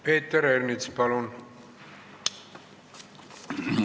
Peeter Ernits, palun!